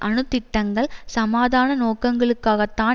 அணு திட்டங்கள் சமாதான நோக்கங்களுக்காகத் தான்